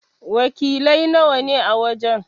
Wakiliai nawa ne a wajen?